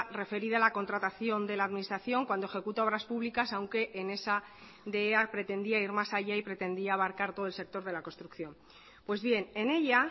referida a la contratación de la administración cuando ejecuta obras públicas aunque en esa de ea pretendía ir más allá y pretendía abarcar todo el sector de la construcción pues bien en ella